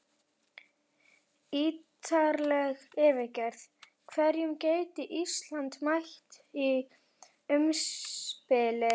Ítarleg yfirferð: Hverjum gæti Ísland mætt í umspili?